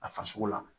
A farisogo la